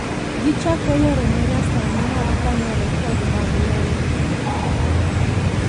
Gichako yore manyasani mag kano rekod mag lowo.